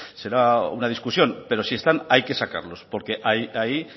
será una discusión pero si están hay que sacarlos porque ahí